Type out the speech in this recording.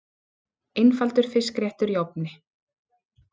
Einfaldur fiskréttur í ofni